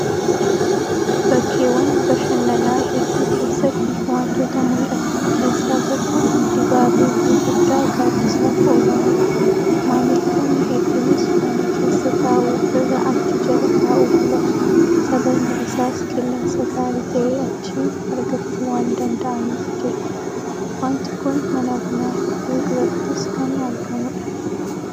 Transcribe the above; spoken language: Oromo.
Bakkeewwan bashannanaa hedduu keessatti waantota mul'atan keessaa tokko Dibaabee Gurguddaa gaaddisaaf oolanidha. Maamiltoonni hedduunis mana keessa taa'uu irra achi jala taa'uu filatu. Sababni isaas qilleensa gaarii ta'e achii argachuu waan danda'aniif jechuudha. Waanti kun mana bunaa hedduu durattis kan argamudha.